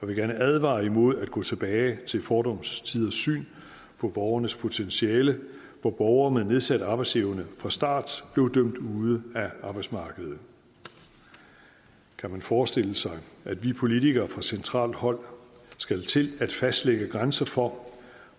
vil gerne advare imod at gå tilbage til fordums tiders syn på borgernes potentiale hvor borgere med nedsat arbejdsevne fra start blev dømt ude af arbejdsmarkedet kan man forestille sig at vi politikere fra centralt hold skal til at fastlægge grænser for